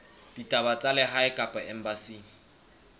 ditaba tsa lehae kapa embasing